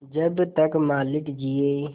जब तक मालिक जिये